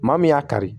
Maa min y'a kari